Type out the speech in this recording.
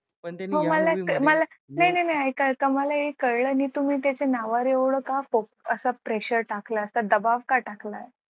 नाही नाही ऐयका मला येमला एक कळलं नाही तुम्ही त्याच्या नावावर का एवढं pressure टाकला असं दबाव का टाकलाय?